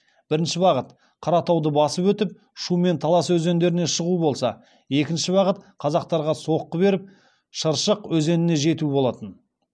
бірінші бағыт қаратауды басып өтіп шу мен талас өзендеріне шығу болса екінші бағыт қазақтарға соққы беріп шыршық өзеніне жету болатын